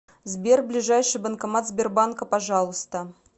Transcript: сбер ближайший банкомат сбербанка пожалуйста